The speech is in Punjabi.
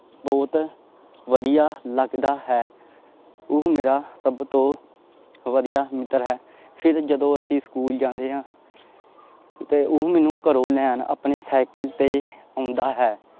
ਬਹੁਤ ਵਧੀਆ ਲੱਗਦਾ ਹੈ ਉਹ ਮੇਰਾ ਸਭ ਤੋਂ ਵਧੀਆ ਮਿੱਤਰ ਹੈ ਫਿਰ ਜਦੋਂ ਅਸੀਂ ਸਕੂਲ ਜਾਂਦੇ ਹਾਂ ਤੇ ਉਹ ਮੈਨੂੰ ਘਰੋਂ ਲੈਣ ਆਪਣੇ ਸਾਇਕਲ ਤੇ ਆਉਂਦਾ ਹੈ।